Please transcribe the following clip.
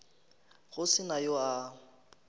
go se na yo a